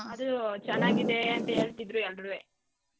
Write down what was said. ಅದು ಚೆನ್ನಾಗಿದೆ ಅಂತ ಹೇಳ್ತಿದ್ರು ಎಲ್ರೂವೆ.